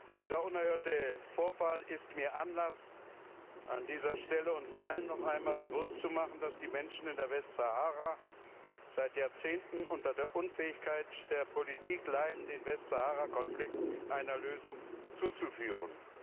Dieser unerhörte Vorfall ist mir Anlass, an dieser Stelle uns allen noch einmal bewusst zu machen, dass die Menschen in der Westsahara seit Jahrzehnten unter der Unfähigkeit der Politik leiden, den Westsaharakonflikt einer Lösung zuzuführen.